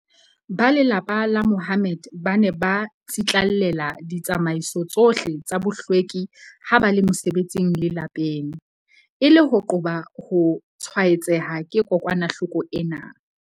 Ba lelapa la Mahommed ba ne ba tsitlallela ditsamaiso tsohle tsa bohlweki ha ba le mosebetsing le lapeng, e le ho qoba ho tshwaetseha ke kokwanahloko ena.